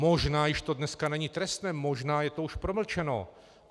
Možná to již dneska není trestné, možná je to už promlčeno.